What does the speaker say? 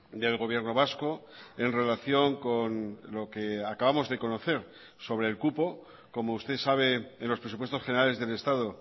del gobierno vasco en relación con lo que acabamos de conocer sobre el cupo como usted sabe en los presupuestos generales del estado